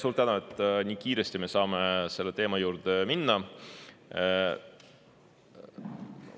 Suur tänu, et me saame nii kiiresti selle teema juurde minna!